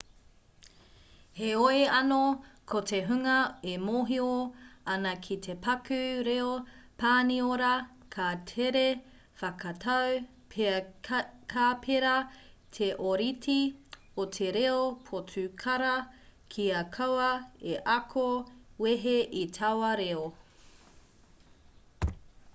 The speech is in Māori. heoi anō ko te hunga e mōhio ana ki te paku reo pāniora ka tere whakatau pea ka pērā te ōrite o te reo potukara kia kaua e ako wehe i taua reo